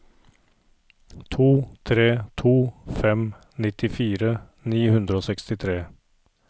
to tre to fem nittifire ni hundre og sekstitre